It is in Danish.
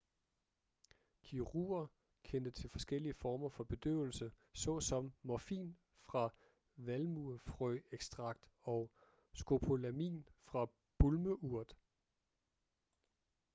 kirurger kendte til forskellige former for bedøvelse såsom morfin fra valmuefrøekstrakt og skopolamin fra bulmeurt